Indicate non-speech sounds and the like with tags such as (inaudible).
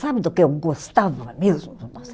Sabe do que eu gostava mesmo? (unintelligible)